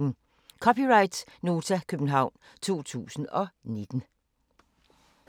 (c) Nota, København 2019